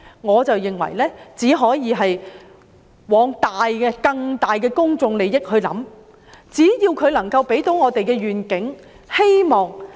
我認為只可以朝着更大的公眾利益出發，只要計劃可以為我們帶來願景和希望。